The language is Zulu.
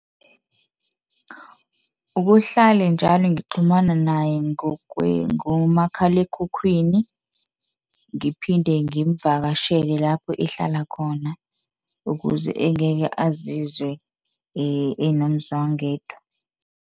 Ukuhlale njalo ngixhumana naye ngomakhalekhukhwini, ngiphinde ngimvakashele lapho ehlala khona ukuze engeke azizwe enomzwangedwa.